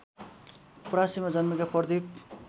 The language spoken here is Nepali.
परासीमा जन्मेका प्रदिप